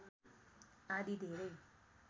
आदि धेरै